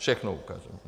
Všechno ukážeme.